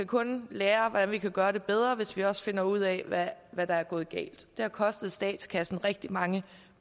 kun kan lære hvordan vi kan gøre det bedre hvis vi også finder ud af hvad hvad der er gået galt det har kostet statskassen rigtig mange